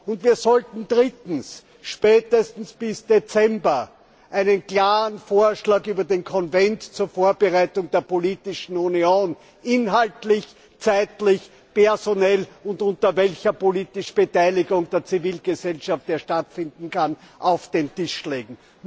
Und wir sollten drittens spätestens bis Dezember einen klaren Vorschlag über den Konvent zur Vorbereitung der politischen Union inhaltlich, zeitlich, personell und unter welcher politischen Beteiligung der Zivilgesellschaft er stattfinden kann auf den Tisch legen.